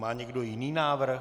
Má někdo jiný návrh?